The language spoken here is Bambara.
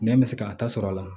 Nɛn bɛ se ka a tasɔr'a la